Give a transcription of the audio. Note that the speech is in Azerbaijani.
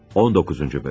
19-cu hissə.